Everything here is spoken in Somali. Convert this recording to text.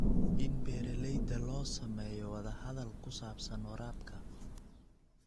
In beeralayda la sameeyo wadahadal ku saabsan waraabka.